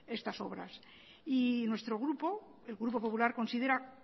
estas obras y nuestro grupo el grupo popular considera